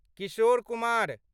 Kishore Kumar